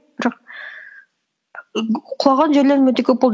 бірақ і г құлаған жерлерім өте көп болды